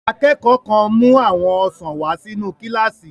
Akẹ́kọ̀ọ́ kan mú àwọn ọsàn wà sínu kílásì